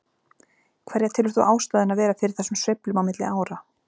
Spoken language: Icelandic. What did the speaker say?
Hverja telur þú ástæðuna vera fyrir þessum sveiflum á milli ára?